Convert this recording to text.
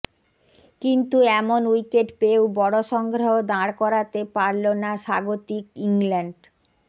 কিন্তু এমন উইকেট পেয়েও বড় সংগ্রহ দাঁড় করাতে পারলো না স্বাগতিক ইংল্যান্ড